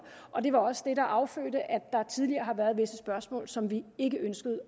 og det var også det der affødte at der tidligere var visse spørgsmål som vi ikke ønskede